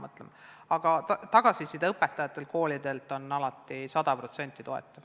Õpetajate ja koolide tagasiside on alati olnud sada protsenti toetav.